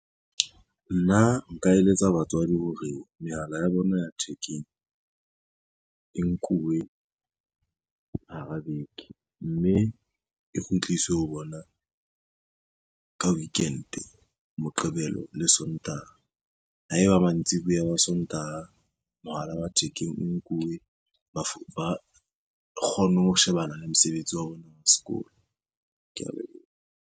Nna nka eletsa batswadi hore mehala ya bona ya thekeng e nkuwe hara beke, mme e kgutliswe ho bona ka weekend, Moqebelo le Sontaha. Ha eba mantsiboya wa Sontaha, mohala wa thekeng o nkuwe ba kgone ho shebana le mosebetsi wa bona wa sekolo, kea leboha.